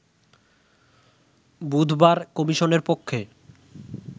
বুধবার কমিশনের পক্ষে